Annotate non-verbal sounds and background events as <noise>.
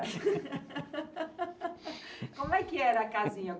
<laughs> Como é que era a casinha?